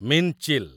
ମୀନ୍‌ଚିଲ୍